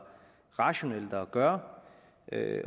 rationelt at gøre